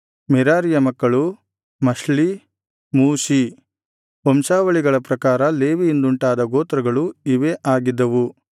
ಮೆರಾರೀಯ ಮಕ್ಕಳು ಮಹ್ಲೀ ಮೂಷೀ ವಂಶಾವಳಿಗಳ ಪ್ರಕಾರ ಲೇವಿಯಿಂದುಂಟಾದ ಗೋತ್ರಗಳು ಇವೇ ಆಗಿದ್ದವು